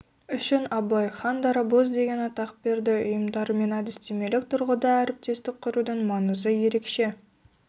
үшін абылай хан дарабоздеген атақ берді ұйымдарымен әдістемелік тұрғыда әріптестік құрудың маңызы ерекше